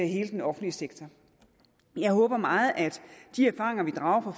hele den offentlige sektor jeg håber meget at de erfaringer vi drager af